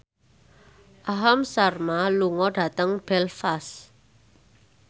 Aham Sharma lunga dhateng Belfast